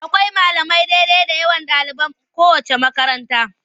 Akwai malamai daidai da yawan yawan ɗaliban kowaceec makaranta.